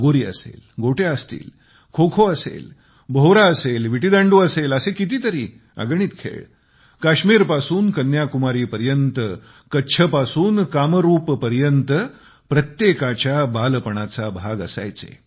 लगोरी असेल गोट्या असतील खोखो असेल भोवरा असेल विटीदांडू असेल असे कितीतरी अगणित खेळ काश्मीर पासून कन्याकुमारी पर्यंत कच्छपासून कामरूप पर्यंत प्रत्येकाच्या बालपणाचा भाग असायचे